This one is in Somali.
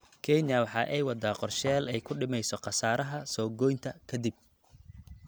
Kenya waxa ay waddaa qorshayaal ay ku dhimayso khasaaraha soo goynta ka dib.